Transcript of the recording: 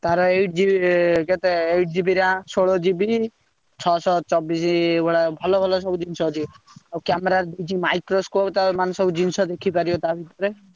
ତାର eight GB କେତେ eight GB RAM ଷୋଳ GB ଛଅସହ ଚବିଶି ଭଳିଆ ଭଲ ଭଲ ସବୁ ଜିନିଷ ଅଛି। ଆଉ camera ରେ ଅଛି microscope ତାର ମାନେ ସବୁ ଜିନିଷ ଦେଖିପାରିବ ତା ଭିତରେ।